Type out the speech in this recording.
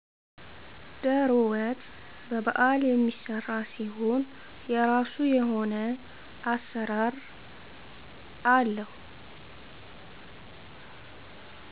ደሮ ወጥ በበዓል የሚሰራ ሲሆን የራሱ የሆነ አሰራር አለው።